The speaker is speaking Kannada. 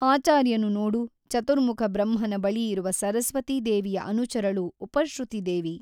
ಆಚಾರ್ಯನು ನೋಡು ಚತುರ್ಮುಖ ಬ್ರಹ್ಮನ ಬಳಿ ಇರುವ ಸರಸ್ವತೀ ದೇವಿಯ ಅನುಚರಳು ಉಪಶ್ರುತಿದೇವಿ.